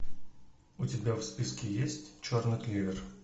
у тебя в списке есть черный клевер